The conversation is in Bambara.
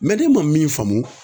ne ma min faamu